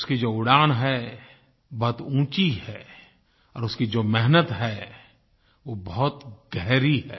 उसकी जो उड़ान है बहुत ऊँची है और उसकी जो मेहनत है वो बहुत गहरी है